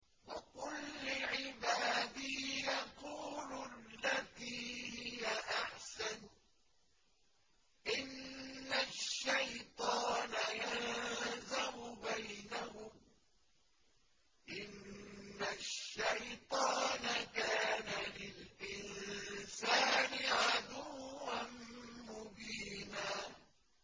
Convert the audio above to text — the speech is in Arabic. وَقُل لِّعِبَادِي يَقُولُوا الَّتِي هِيَ أَحْسَنُ ۚ إِنَّ الشَّيْطَانَ يَنزَغُ بَيْنَهُمْ ۚ إِنَّ الشَّيْطَانَ كَانَ لِلْإِنسَانِ عَدُوًّا مُّبِينًا